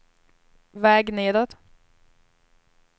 väg nedåt